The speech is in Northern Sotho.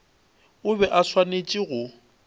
o be a swanetše go